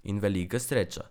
In velika sreča.